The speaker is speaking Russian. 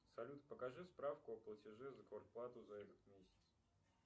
салют покажи справку о платеже за квартплату за этот месяц